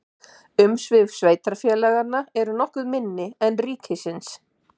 Umsvif sveitarfélaga eru nokkuð minni en ríkisins.